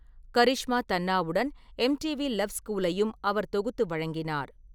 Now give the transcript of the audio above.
கரிஷ்மா தன்னாவுடன் MTV love ஸ்கூலையும் அவர் தொகுத்து வழங்கினார்.